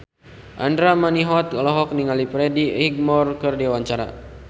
Andra Manihot olohok ningali Freddie Highmore keur diwawancara